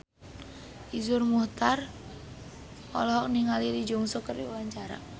Iszur Muchtar olohok ningali Lee Jeong Suk keur diwawancara